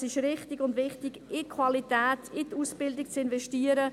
Es ist richtig und wichtig, in Qualität, in die Ausbildung zu investieren.